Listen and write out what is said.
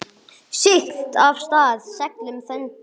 Siglt af stað seglum þöndum.